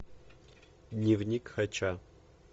дневник хача